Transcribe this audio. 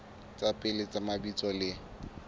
tsa pele tsa mabitso le